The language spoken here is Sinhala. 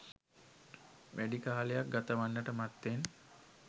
වැඩි කාලයක් ගතවන්නට මත්තෙන්